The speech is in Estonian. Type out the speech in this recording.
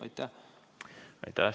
Aitäh!